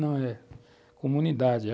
Não, é comunidade.